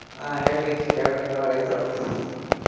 ಆ ಹೇಳ್ರಿ ಹೇಳ್ಬೆಕ್ ನೀವ ರೈತ್ರು.